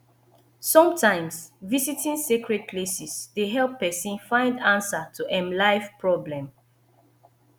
sometimes visiting sacred places dey help person find answer to em life problem